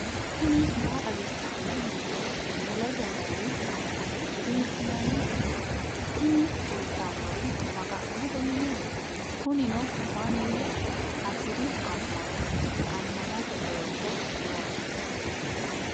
tini maa xawissanno misileeti ? mulese noori maati ? hiissinannite ise ? tini kultannori maga'note mineeti. kunino mannu hasiri amma'no ammanate qoosso noosiho.